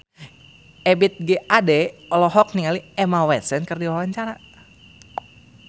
Ebith G. Ade olohok ningali Emma Watson keur diwawancara